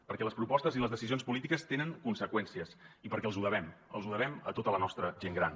perquè les propostes i les decisions polítiques tenen conseqüències i perquè els ho devem els ho devem a tota la nostra gent gran